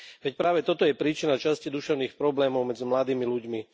Veď práve toto je príčina časti duševných problémov medzi mladými ľuďmi.